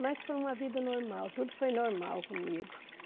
Mas foi uma vida normal, tudo foi normal comigo.